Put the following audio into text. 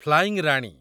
flying Rani